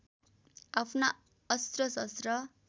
आफ्ना अस्त्र शस्त्र